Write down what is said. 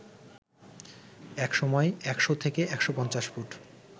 একসময় ১০০ থেকে ১৫০ ফুট